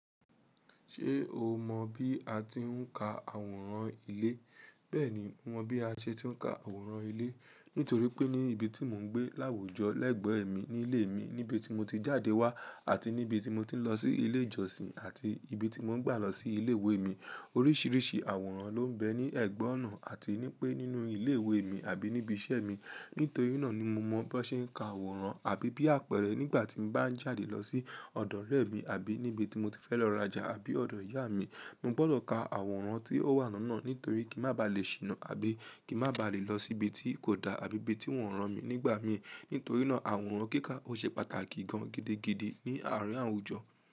Ṣé o mọ bí a ti ń ka àwòrán ilé? Bẹ́ẹ̀ni, mo mọ bí a ṣe ti ń ka àwòrán ilé. Nítorí pé ní ibi tí mò ń gbé láwùjọ, lẹ́gbẹ̀ẹ́ mi nílé mi, níbi tí mo ti jáde wá àti níbi tí mo ti ń lọ sí ilé ìjọsìn àti ibi tí mò ń gbà lọ sí ilé ìwé mi, oríṣiríṣi àwòrán ló ń bẹ ní ẹ̀gbẹ́ ọ̀nà àti nípe nínú ilé ìwé mi àbí níbi iṣẹ́ mi. Nítorí náà ni mo mọ bó ṣe ń ka àwòrán. Àbí bí àpẹẹrẹ nígbà tí mo bá ń jáde lọ sí ọ̀dọ̀ ọ̀rẹ́ mi àbí níbi tí mo ti fẹ́ lọ raja àbí ọ̀dọ̀ ìyá mi, mo gbọdọ̀ ka àwòrán tí ó wà lónà nítorí kí má ba à lè ṣìnà àbí kí má ba à lè lọ síbi tí kò da àbí ibi tí wọ́n rán mi nígbà mi. Nítorí náà, àwòrán kíkà ó ṣe pàtàkì gan gidigidi ní àárín àwùjọ.